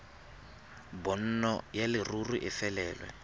bonno ya leruri e felelwe